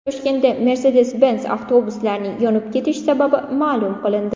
Toshkentda Mercedes Benz avtobuslarining yonib ketish sababi ma’lum qilindi .